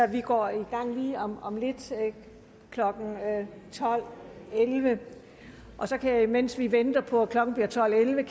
vi går i gang lige om om lidt klokken tolv elleve og så kan jeg imens vi venter på at klokken bliver tolv elleve